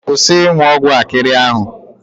Kwusi ịnwụ ọgwụ akịrị ahụ.